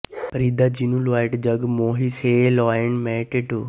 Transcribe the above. ਫ਼ਰੀਦਾ ਜਿਨੁ ਲੋਇਟ ਜਗੁ ਮੋਹਿਆ ਸੇ ਲੋਇਣ ਮੈ ਡਿਠੁ